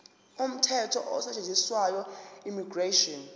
umthetho osetshenziswayo immigration